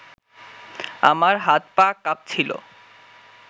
আমার হাত-পা কাঁপছিল